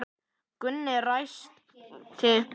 Gunni ræskti sig.